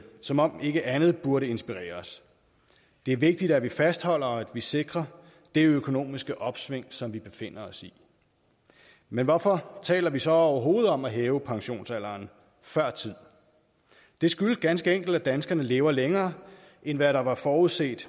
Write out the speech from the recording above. som om ikke andet burde inspirere os det er vigtigt at vi fastholder og at vi sikrer det økonomiske opsving som vi befinder os i men hvorfor taler vi så overhovedet om at hæve pensionsalderen før tid det skyldes ganske enkelt at danskerne lever længere end hvad der var forudset